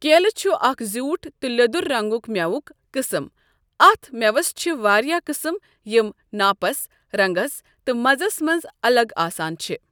کیلہٕ چھُ اَکھ زیوٗٹھ تہٕ لیٛۆدُر رَنٛگُک مؠوُک قٕسٕم اَتھ مؠوَس چھِ واریاہ قٕسم یِم ناپَس، رَنٛگَس تہٕ مَزَس مَنٛز اَلَگ آسان چھُ ۔